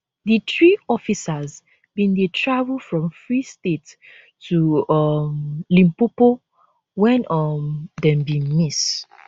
di three officers bin dey travel from free state to um limpopo wen um dem bin miss